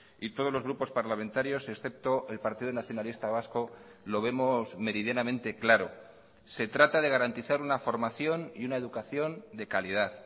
y todos los grupos parlamentarios excepto el partido nacionalista vasco lo vemos meridianamente claro se trata de garantizar una formación y una educación de calidad